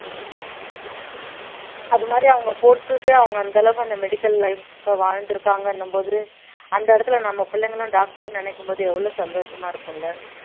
அது மாதிரி அவங்க போட்டுட்டு அவங்க அந்த அளவுக்கு அந்த medical life அ வாழ்ந்திருக்காங்கன்னும் போது அந்த இடத்துல நம்ம பிள்ளைங்களும் doctor ன்னு நினைக்கும் போது எவ்வளவு சந்தோஷமா இருக்கும் இல்ல